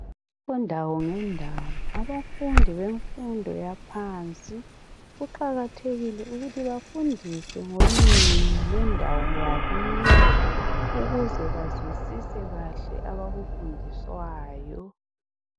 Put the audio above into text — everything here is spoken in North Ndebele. Kundawo ngendawo amafundi bemfundo yaphansi kuqakathekile ukuthi bafundiswe ngolimu lwendawo yakibo ukuze bazwisise kahle abakufundiswayo.